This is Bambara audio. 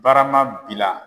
Barama bila